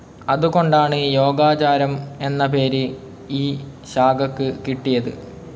അതുകൊണ്ടാണ്, യോഗാചാരം എന്ന പേര് ഈ ശാഖക്ക് കിട്ടിയത്.